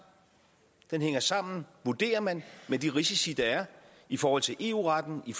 den hænger sammen vurderer man med de risici der er i forhold til eu retten i